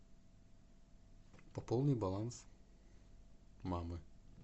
пополни баланс мамы